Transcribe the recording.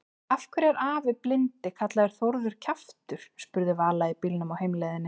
Af hverju er afi blindi kallaður Þórður kjaftur? spurði Vala í bílnum á heimleiðinni.